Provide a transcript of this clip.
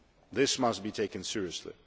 This must be taken seriously.